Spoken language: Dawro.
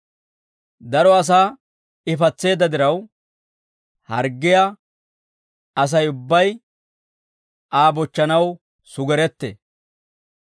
Daro asaa I patseedda diraw, harggiyaa Asay ubbay Aa bochchanaw sugerettee.